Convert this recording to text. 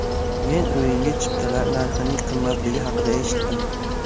Men o‘yinga chiptalar narxining qimmatligi haqida eshitdim.